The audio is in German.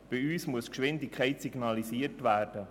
Bei uns muss die Geschwindigkeit signalisiert werden.